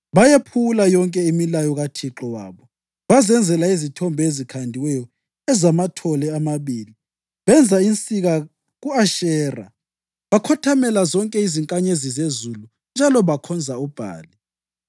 Bayephula yonke imilayo kaThixo wabo, bazenzela izithombe ezikhandiweyo ezamathole amabili, benza insika ku-Ashera. Bakhothamela zonke izinkanyezi zezulu, njalo bakhonza uBhali.